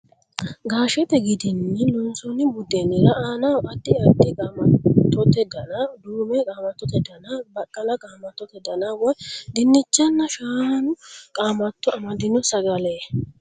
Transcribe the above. Gaashete gidinni loonsoonni buddeenira aanaho addi addi qaamattote dana: duume qaamattote dana, baqqala qaamattote dana woy dinnichanna shaanu qaamatto amaddino sagale.